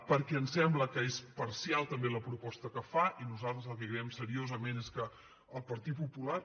perquè ens sembla que és parcial també la proposta que fa i nosaltres el que creiem seriosament és que el partit popular